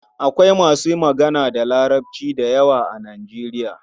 Akwai masu magana da Larabci da yawa a Nijeriya.